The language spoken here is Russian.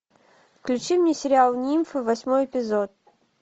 включи мне сериал нимфы восьмой эпизод